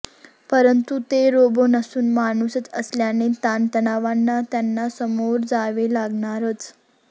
परंतु ते रोबो नसून माणुसच असल्याने ताणतणावांना त्यांना सामोरे जावे लागणारच